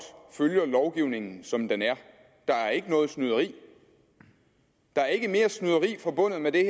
følger lovgivningen som den er der er ikke noget snyderi der er ikke mere snyderi forbundet med det